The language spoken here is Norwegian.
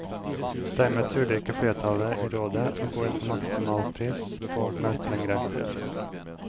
Dermed turde ikke flertallet i rådet å gå inn for maksimalpris på melk lenger.